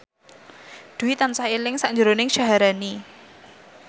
Dwi tansah eling sakjroning Syaharani